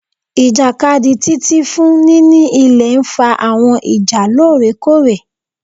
Ijakadi Titi fun nini ilẹ nfa awọn ija loorekoore